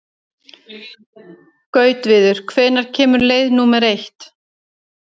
Gautviður, hvenær kemur leið númer eitt?